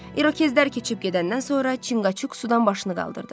İrokezlər keçib gedəndən sonra Çinqaçuk sudan başını qaldırdı.